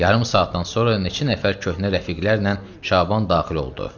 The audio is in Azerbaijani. Yarım saatdan sonra neçə nəfər köhnə rəfiqlərlə Şaban daxil oldu.